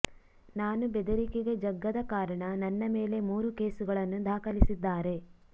ನಾನು ಬೆದರಿಕೆಗೆ ಜಗ್ಗದ ಕಾರಣ ನನ್ನ ಮೇಲೆ ಮೂರು ಕೇಸುಗಳನ್ನು ದಾಖಲಿಸಿದ್ದಾರೆ